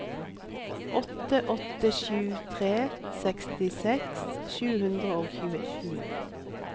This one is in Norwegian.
åtte åtte sju tre sekstiseks sju hundre og tjueni